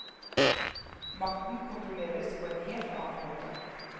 Makten kontrolleres på en helt annen måte.